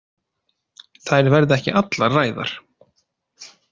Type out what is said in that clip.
Þær verða ekki allar ræðar.